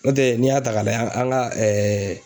N'o tɛ n'i y'a ta k'a lajɛ an ka